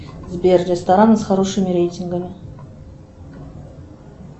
сбер рестораны с хорошими рейтингами